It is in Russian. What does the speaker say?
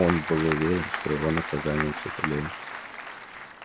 он был уверен его наказание тяжелее